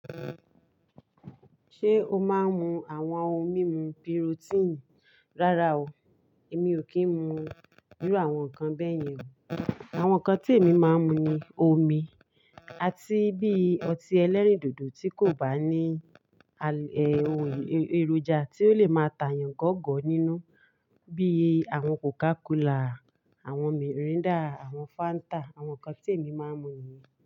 Ṣé o máa ń mu àwọn ohun mímu bíi protein? Rárá o, èmi ò kí ń mu irú àwọn nǹkan bẹ́ẹ̀ yẹn o. Àwọn nǹkan tí èmi máa ń mu ni omi àti bí i ọtí ẹlẹ́rìndòdò tí kò bá ní ohun èròjà tí ó lè máa tàyàn gọ̀ọ̀gọ̀ọ̀ nínú bí i àwọn Coca Cola, àwọn Miranda, àwọn Fanta, àwọn nǹkan tí èmi máa ń mu nìyí.